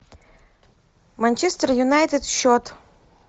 манчестер юнайтед счет